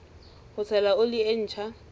ho tshela oli e ntjha